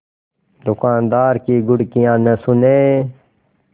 दुकानदार की घुड़कियाँ न सुने